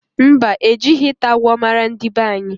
Mba, ejighi ita agwo mara ndi banyi